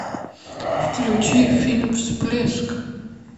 включи фильм всплеск